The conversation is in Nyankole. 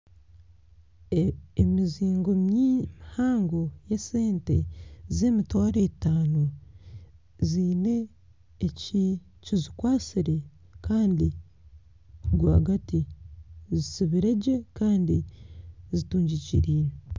Emizingo mihango y'esente z'emitwaro etaano ziine ekizikwatsire kandi rwagati zitsibire gye kandi zitungikiriine